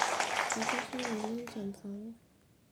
etasha ng'ole enchan sapuk